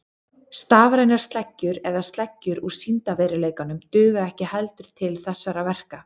Stafrænar sleggjur eða sleggjur úr sýndarveruleikanum duga ekki heldur til þessara verka.